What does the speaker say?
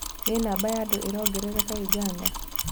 Nĩkĩĩ namba ya andũ ĩrongerereka ũganda ?